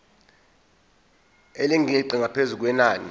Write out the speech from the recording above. elingeqi ngaphezu kwenani